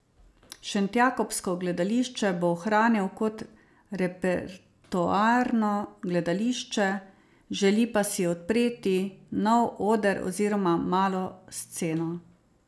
Šentjakobsko gledališče bo ohranil kot repertoarno gledališče, želi pa si odpreti nov oder oziroma malo sceno.